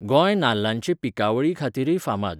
गोंय नाल्लांचे पिकावळीखातीरय फामाद.